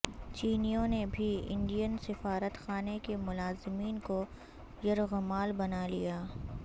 چینیوں نے بھی انڈین سفارت خانے کے ملازمین کو یرغمال بنا لیا